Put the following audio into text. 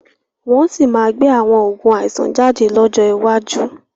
Wọ́n sì máa gbé àwọn Oògùn àìsàn jáde lọ́jọ́ iwájú